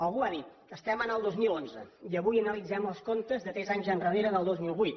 algú ha dit estem al dos mil onze i avui analitzem els comptes de tres anys endarrere del dos mil vuit